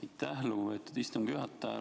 Aitäh, lugupeetud istungi juhataja!